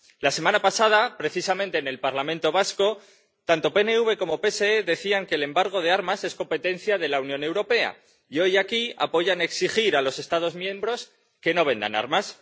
La semana pasada, precisamente en el Parlamento vasco, tanto PNV como PSE decían que el embargo de armas es competencia de la Unión Europea. Y hoy aquí apoyan exigir a los Estados miembros que no vendan armas.